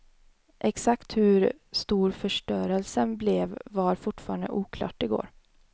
Exakt hur stor förstörelsen blev var fortfarande oklart i går.